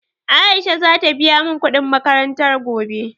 Aisha za ta biya mun kuɗin makaranta gobe